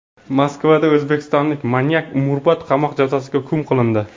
Moskvada o‘zbekistonlik manyak umrbod qamoq jazosiga hukm qilindi.